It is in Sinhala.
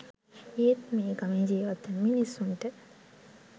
ඒත් මේ ගමේ ජීවත්වන මිනිසුන්ට